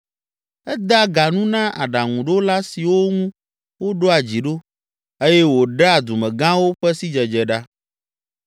Edea ga nu na aɖaŋuɖola siwo ŋu woɖoa dzi ɖo eye wòɖea dumegãwo ƒe sidzedze ɖa.